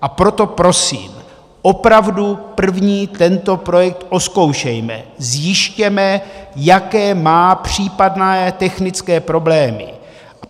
A proto prosím, opravdu první tento projekt ozkoušejme, zjistěme, jaké má případné technické problémy.